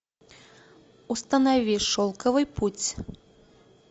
установи шелковый путь